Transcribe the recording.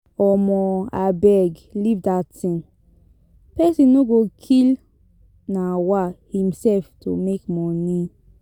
um Abeg leave dat thing, person no go kill um himself to make money.